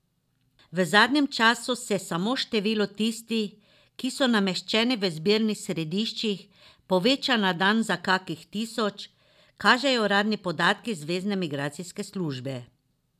V zadnjem času se samo število tistih, ki so nameščeni v zbirnih središčih, poveča na dan za kakih tisoč, kažejo uradni podatki zvezne migracijske službe.